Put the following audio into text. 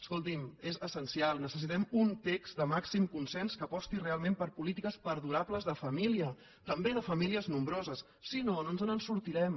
escolti’m és essencial necessitem un text de màxim consens que aposti realment per polítiques perdura·bles de família també de famílies nombroses si no no ens en sortirem